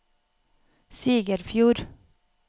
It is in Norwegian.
Sigerfjord